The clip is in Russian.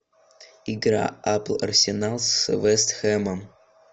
игра апл арсенал с вест хэмом